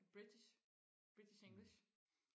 british british english